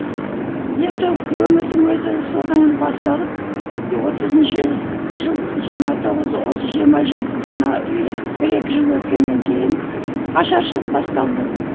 енді өмірдің өзі содан басталып отызыншы жыл жиырма тоғыз осы жиырма жетіден а бір екі жыл өткеннен кейін ашаршылық басталды